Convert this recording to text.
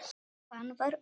Hann var orðinn.